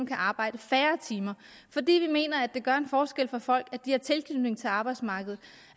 kan arbejde færre timer fordi vi mener at det gør en forskel for folk at de har tilknytning til arbejdsmarkedet